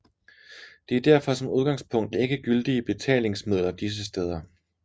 De er derfor som udgangspunkt ikke gyldige betalingsmidler disse steder